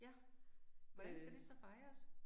Ja, hvordan skal det så fejres?